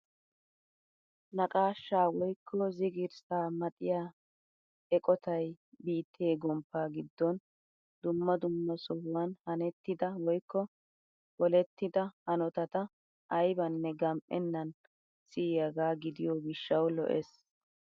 Naqashshaa woykko zigirssaa maxiyaa eqotay biittee gomppaa giddon dumma dumma sohuwaan hanettida woykko polettida hanotata aybanne gam"enan siyaagaa gidiyoo gishshawu lo"ees!